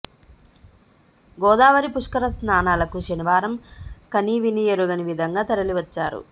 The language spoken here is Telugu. గోదావరి పుష్కర స్నానాలకు శనివారం కనీవినీ ఎరుగని విధంగా తరలి వచ్చారు